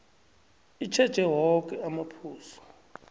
itjheje woke amaphuzu